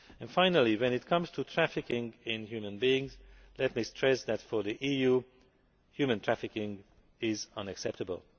Finally, when it comes to trafficking in human beings, let me stress that for the EU human trafficking is unacceptable.